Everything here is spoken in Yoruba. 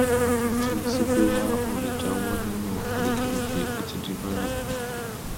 àtúntí ṣíkíra ò lè jáwọ nínú àrékérekè ó ti di bárakú